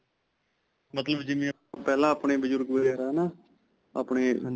ਮਤਲਬ ਜਿਵੇਂ ਪਹਿਲਾ ਆਪਣੇ ਬਜੁਰਗ- ਵਗੈਰਾ ਹੈ ਨਾ? ਆਪਣੇ ਘਰਾਂ.